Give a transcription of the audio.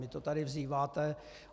Vy to tady vzýváte.